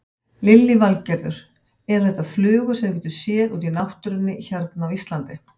Lillý Valgerður: Eru þetta flugur sem við getum séð út í náttúrunni hérna á Íslandi?